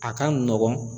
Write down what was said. A ka nɔgɔn